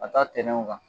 Ka taa tɛn kan